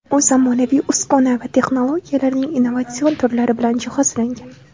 U zamonaviy uskuna va texnologiyalarning innovatsion turlari bilan jihozlangan.